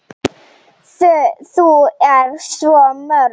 Þau eru svo mörg.